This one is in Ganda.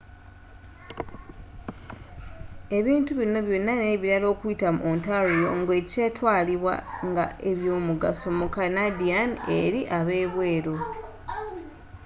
ebintu binno byona n'ebirala okuyita mu ontario nga ekitwalibwa nga ebyomugaso mu canadian eri ab'ebweru